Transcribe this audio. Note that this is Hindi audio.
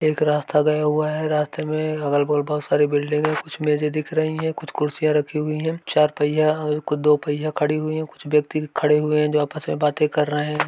एक रास्ता गया हुआ है रास्ते में अगल बगल बोहोत सारी बिल्डिंग मेज़े दिख रही है कुछ कुर्सियां रखी हुई हैं चार पहिया और दो पहिया खड़ी हुई हैं कुछ व्यक्ति खड़े हुए हैं जो कि आपस में बातें कर रहे हैं।